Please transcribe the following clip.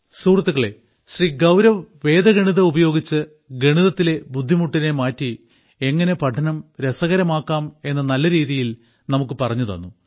സുഹൃത്തുക്കളേ ശ്രീ ഗൌരവ് വേദഗണിതം ഉപയോഗിച്ച് ഗണിതത്തിലെ ബുദ്ധിമുട്ടിനെ മാറ്റി എങ്ങനെ പഠനം രസകരമാക്കാം എന്ന് നല്ലരീതിയിൽ നമുക്ക് പറഞ്ഞുതന്നു